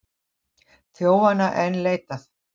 Þjófanna enn leitað